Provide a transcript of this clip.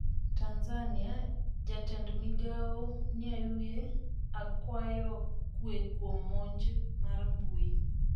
Tanzania: jatend migao Nnauye akwayo kwe kuom monj mar mbui